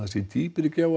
dýpri gjá